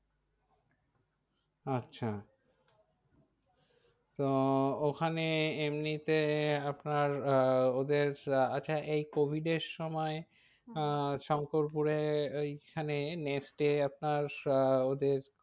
আচ্ছা তো ওখানে এমনিতে আপনার আহ ওদের আচ্ছা এই covid এর সময় হ্যাঁ আহ শঙ্করপুরে ওইখানে নেস্টটে আপনার আহ ওদের